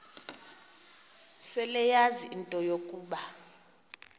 seleyazi into yokuba